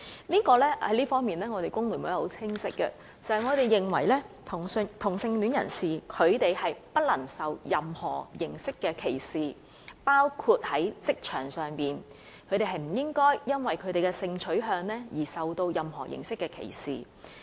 在這方面，工聯會的立場很清晰，我們認為同性戀人士不應受到任何形式的歧視，包括在職場上，他們不應因為性取向而受到任何形式的歧視。